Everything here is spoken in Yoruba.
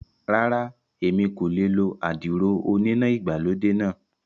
Rárá, mi ò lè lo àdìrò oníná ìgbàlódé náà